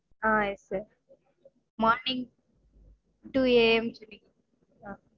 ah yes sir morning two AM சரி